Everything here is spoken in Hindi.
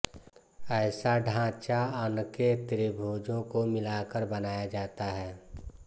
ऐसा ढाँचा अनके त्रिभुजों को मिलाकर बनाया जाता है